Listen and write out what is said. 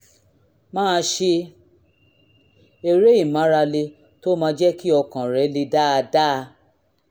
máa ṣe eré ìmárale tó máa jẹ́ kí ọkàn rẹ le dáadáa